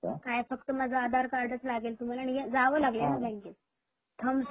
काय फक्त माझ आधार कार्ड च लागेल थम साठी याव लागेल